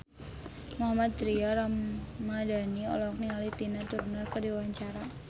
Mohammad Tria Ramadhani olohok ningali Tina Turner keur diwawancara